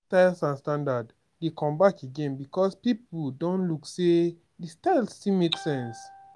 old styles and standard dey come back again because pipo don look sey di style still make sense